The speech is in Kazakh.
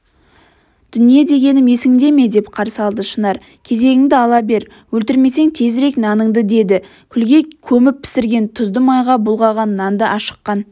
дүние дегенім есіңде ме деп қарсы алды шынар кезегіңді ала бер өлтірмесең тезірек наныңды деді күлге көміп пісіріп тұзды майға бұлғаған нанды ашыққан